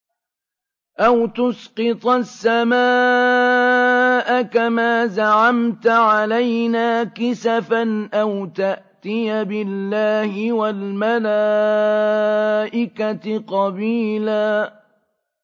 أَوْ تُسْقِطَ السَّمَاءَ كَمَا زَعَمْتَ عَلَيْنَا كِسَفًا أَوْ تَأْتِيَ بِاللَّهِ وَالْمَلَائِكَةِ قَبِيلًا